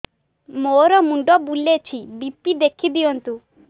ମୋର ମୁଣ୍ଡ ବୁଲେଛି ବି.ପି ଦେଖି ଦିଅନ୍ତୁ